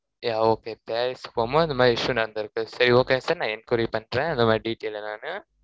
yeah okay paris போமா, இந்த மாதிரி issue நடந்திருக்கு. சரி, okay sir நான் enquiry பண்றேன். அந்த மாதிரி detailed நானு.